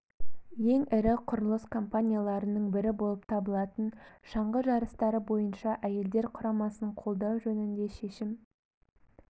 ең ірі құрылыс компанияларының бірі болып табылатын шаңғы жарыстары бойынша әйелдер құрамасын қолдау жөнінде шешім